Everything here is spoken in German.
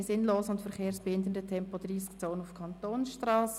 «Keine sinnlosen und verkehrsbehindernden Tempo-30-Zonen auf Kantonsstrassen».